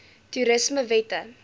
toerismewette